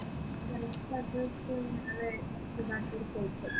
correct address